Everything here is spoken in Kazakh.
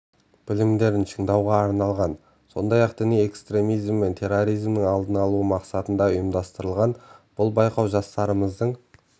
білімдерін шыңдауға арналған сондай-ақ діни экстремизм мен терроризмнің алдын алу мақсатында ұйымдастырылған бұл байқау жастарымыздың